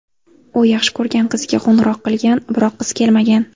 U yaxshi ko‘rgan qiziga qo‘ng‘iroq qilgan, biroq qiz kelmagan.